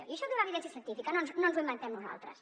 i això té una evidència científica no ens ho inventem nosaltres